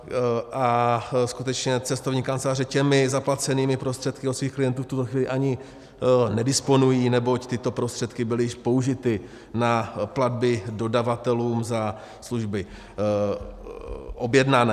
A skutečně cestovní kanceláře těmi zaplacenými prostředky od svých klientů v tuto chvíli ani nedisponují, neboť tyto prostředky byly již použity na platby dodavatelům za služby objednané.